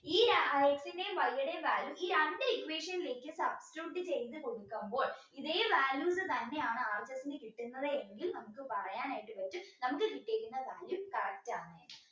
ഈ അഹ് X ന്റേം Y ടേം value ഈ രണ്ട് equation ലേക്കും substitute ചെയ്തു കൊടുക്കുമ്പോൾ ഈദേ values തന്നെയാണ് കിട്ടുന്നതെങ്കിൽ നമുക്ക് പറയാനായിട്ട് പറ്റും നമുക്ക് കിട്ടിയേക്കുന്ന value correct ആണ്